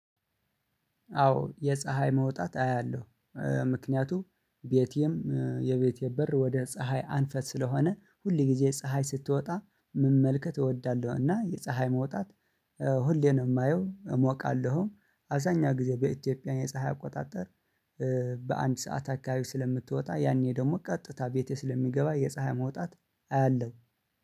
አዎ የፀሀይ መውጣት አያለሁ። ምክንያቱም ቤቴም የቤቴም በር ወደ በፀሀይ አልፎ ስለሆነ ሁል ግዜ ፀሀይ ስትወጣ መመልከት እወዳለሁ። እና የፀሀይ መውጣት ሁሌ ነው የማየው። እሞቃለሁም አብዛኛው ግዜ በኢትዮጲያ የፀሀይ አቆጣጠር። በአንድ ሰዓት አካባቢ ስለምትወጣ ያኔ ደግሞ ቀጥታ ቤቴ ስለሚገባ የፀሀይ መውጣት አያለሁ